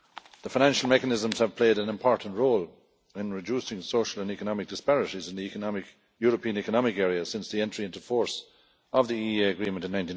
The Financial Mechanisms have played an important role in reducing social and economic disparities in the European Economic Area since the entry into force of the EEA Agreement in